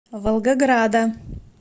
волгограда